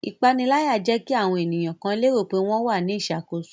Ipanilaya jẹ ki awọn eniyan kan lero pe wọn wa ni iṣakoso